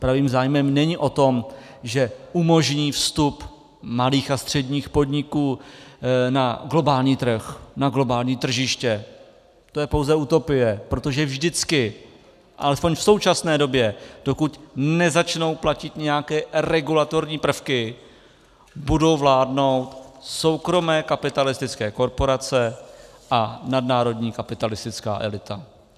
Pravý zájem není o tom, že umožní vstup malých a středních podniků na globální trh, na globální tržiště, to je pouze utopie, protože vždycky alespoň v současné době, dokud nezačnou platit nějaké regulatorní prvky, budou vládnout soukromé kapitalistické korporace a nadnárodní kapitalistická elita.